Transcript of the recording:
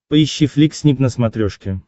поищи флик снип на смотрешке